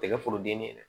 Tɛgɛ foroden ni dɛ